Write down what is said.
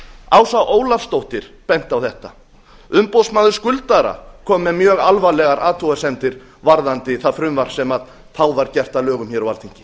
ása ólafsdóttir benti á þetta umboðsmaður skuldara kom með mjög alvarlegar athugasemdir varðandi það frumvarp sem þá var gert að lögum hér á alþingi